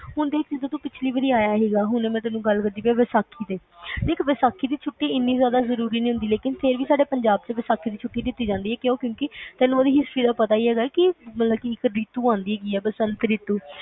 ਹੁਣ ਤੂੰ ਜਦ ਪਿੱਛੇ ਆਇਆ ਸੀ ਆਇਆ ਸੀਗਾ ਵੈਸਾਖੀ ਤੇ ਵੇਖ ਵੈਸਾਖੀ ਦੀ ਛੁੱਟੀ ਏਨੀ ਜ਼ਿਆਦਾ ਜ਼ਰੂਰੀ ਨਹੀਂ ਹੁੰਦੀ ਲੇਕਿਨ ਫੇਰ ਵੀ ਸਾਡੇ ਪੰਜਾਬ ਚ ਵੈਸਾਖੀ ਦੀ ਛੁੱਟੀ ਕੀਤੀ ਜਾਂਦੀ ਹੈ ਕਿਉਂਕਿ ਤੈਨੂੰ ਜਿਦਾ history ਦਾ ਸਬ ਨੂੰ ਪਤਾ ਈ ਹੇਗਾ ਆ ਕਿ ਇਕ ਰੀਤੂ ਆਂਦੀ ਆ ਬਸੰਤ ਰੀਤੂ